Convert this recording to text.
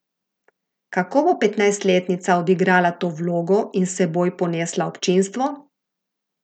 Kako bo petnajstletnica odigrala to vlogo in s seboj ponesla občinstvo?